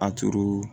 A turu